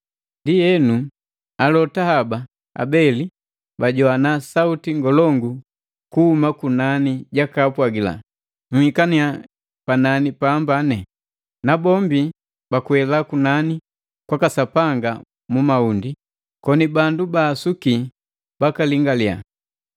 Ndienu, alota haba abeli bajoana sauti ngolongu kuhuma kunani jakaapwagila, “Nhikannya panani pambane!” Nabombi bakwela kunani kwaka Sapanga mu mahundi, koni bandu babaasuki bakalingaliya.